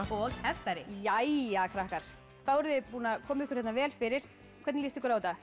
og heftari jæja krakkar þá eruð þið búin að koma ykkur vel fyrir hvernig líst ykkur á þetta